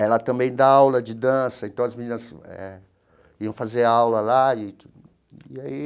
Ela também dá aula de dança, então as meninas eh iam fazer aula lá e aí.